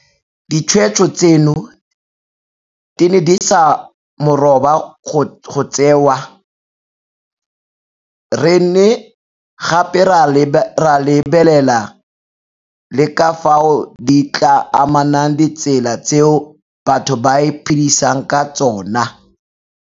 Ditshweetso tseno di ne di se moroba go tseewa, re ne gape ra lebelela le ka fao di tla amang ditsela tseo batho ba iphedisang ka tsona.